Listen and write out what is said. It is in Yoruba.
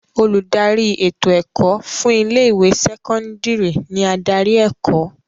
Olùdarí ètò ẹ̀kọ́ fún ilé ìwé sẹ́kọ́ńdírì ni adarí ẹ̀kọ́.